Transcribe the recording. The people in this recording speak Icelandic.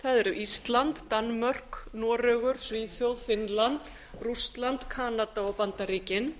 eru ísland danmörk noregur svíþjóð finnland rússland kanada og bandaríkin